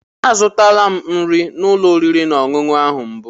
Azụtala m nri n'ụlọ oriri na ọṅụṅụ ahụ mbụ.